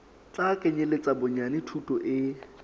tla kenyeletsa bonyane thuto e